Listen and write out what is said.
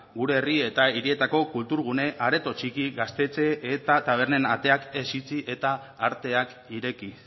gure herri eta hirietako kulturgune areto txiki gaztetxe eta tabernen ateak ez itxi eta arteak ireki